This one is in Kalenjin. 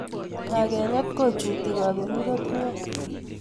Kakenyet kojuti kaberuret nea